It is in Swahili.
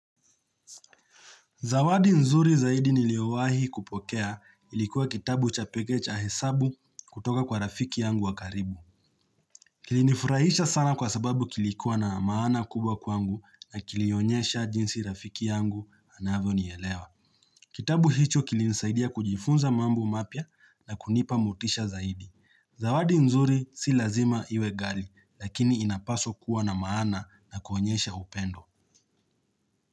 Zawadi nzuri zaidi niliowahi kupokea ilikuwa kitabu cha peke cha hesabu kutoka kwa rafiki yangu wakaribu. Kilinifurahisha sana kwa sababu kilikuwa na maana kubwa kwangu na kilionyesha jinsi rafiki yangu anavyo nielewa. Kitabu hicho kilinisaidia kujifunza mambo mapya na kunipa motisha zaidi. Zawadi nzuri si lazima iwe gai lakini inapaswa kuwa na maana na kuonyesha upendo.